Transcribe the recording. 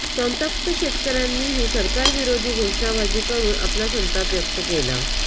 संतप्त शेतकऱ्यांनीही सरकार विरोधी घोषणाबाजी करून आपला संताप व्यक्त केला